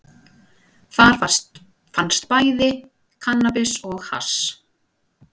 Þar fannst bæði kannabis og hass